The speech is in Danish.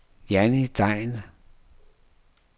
Jannie Degn